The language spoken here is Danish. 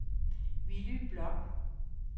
Willy Bloch